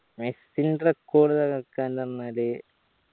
മെസ്സിന്റെ record തകർക്കാൻ നിന്നാല്